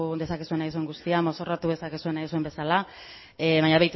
dezakezu nahi duzun guztia mozorrotu dezakezue nahi duzuen bezala baina